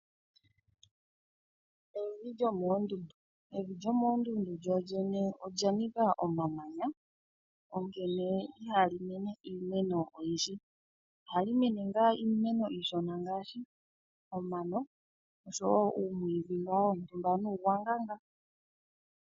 Evi lyomoondundu Evi lyomoondundu lyolyene olya nika omamanya onkene ihali mene iimeno oyindji. Ohali mene ngaa iimeno iishona ngaashi omano oshowo uumwiidhi ngaa wontumba nuugwanga ngaa.